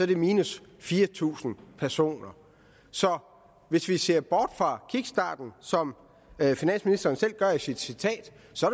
det minus fire tusind personer hvis vi ser bort fra kickstarten som finansministeren selv gør i sit citat så